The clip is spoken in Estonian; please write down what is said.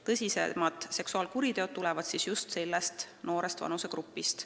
Tõsisemad seksuaalkuriteod pannakse toime just nii noorte laste vastu.